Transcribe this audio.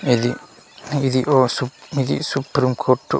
ఇది ఇది ఓ సు ఇది సుప్రీం కోర్టు .